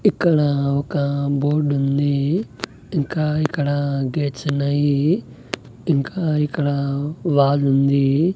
ఇక్కడ ఒక బోర్డ్ ఉంది ఇంకా ఇక్కడ గేట్స్ ఉన్నాయి ఇంకా ఇక్కడ వాల్ ఉంది.